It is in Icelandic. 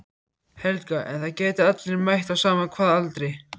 Helga: En það geta allir mætt á sama hvaða aldri?